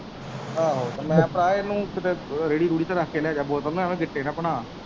ਆਹੋ ਤੇ ਮੈਂ ਕਿਹਾ ਭਰਾ ਇਨੂੰ ਕਿੱਤੇ ਰੇੜੀ ਰੂੜੀ ਤੇ ਰੱਖ ਕੇ ਲੈ ਜਾ ਬੋਤਲ ਐਵੇ ਗਿੱਟੇ ਨਾ ਭਨਾ।